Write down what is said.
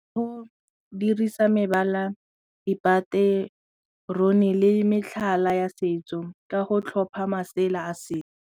Go dirisa mebala, dipatone le metlhala ya setso ka go tlhopha masela a setso.